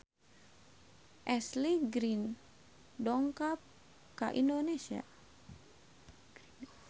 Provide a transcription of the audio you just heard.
Ashley Greene dongkap ka Indonesia